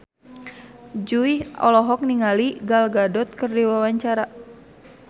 Jui olohok ningali Gal Gadot keur diwawancara